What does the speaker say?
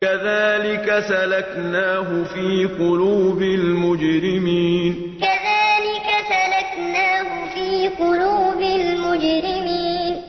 كَذَٰلِكَ سَلَكْنَاهُ فِي قُلُوبِ الْمُجْرِمِينَ كَذَٰلِكَ سَلَكْنَاهُ فِي قُلُوبِ الْمُجْرِمِينَ